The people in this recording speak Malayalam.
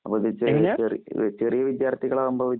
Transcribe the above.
അപ്പോ തീരെ ചെറി ചെറി ചെറിയ വിദ്യാര്‍ത്ഥികളാവുമ്പോ